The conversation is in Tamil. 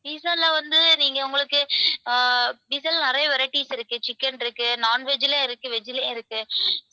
pizza ல வந்து நீங்க உங்களுக்கு அஹ் pizza ல நிறைய varieties இருக்கு chicken இருக்கு non veg ல இருக்கு veg லயும் இருக்கு.